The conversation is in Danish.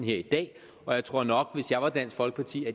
i dag og jeg tror nok at hvis jeg var dansk folkeparti